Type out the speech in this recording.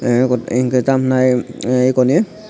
tei eko enke tamo henai ahh eko ni.